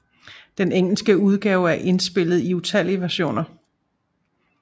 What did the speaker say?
Den engelske udgave er indspillet i utallige versioner